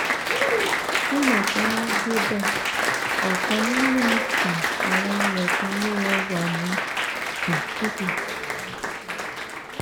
nígbà tí wọn débẹ ọkan nínú um àwọn ilẹkùn ilé rẹ wà ní um títì